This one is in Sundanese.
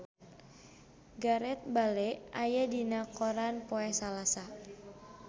Gareth Bale aya dina koran poe Salasa